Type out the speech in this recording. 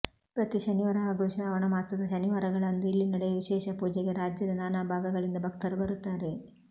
ಪ್ರತಿ ಶನಿವಾರ ಹಾಗೂ ಶ್ರಾವಣ ಮಾಸದ ಶನಿವಾರಗಳಂದು ಇಲ್ಲಿ ನಡೆಯುವ ವಿಶೇಷ ಪೂಜೆಗೆ ರಾಜ್ಯದ ನಾನಾ ಭಾಗಗಳಿಂದ ಭಕ್ತರು ಬರುತ್ತಾರೆ